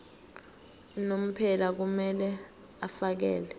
unomphela kumele afakele